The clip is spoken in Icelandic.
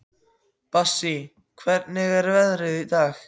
Bassí, hvernig er veðrið í dag?